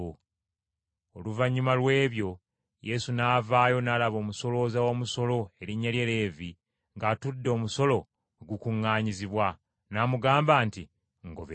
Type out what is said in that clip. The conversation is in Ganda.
Oluvannyuma lw’ebyo Yesu n’avaayo n’alaba omusolooza w’omusolo, erinnya lye Leevi ng’atudde omusolo we gukuŋŋaanyizibwa, n’amugamba nti, “Ngoberera.”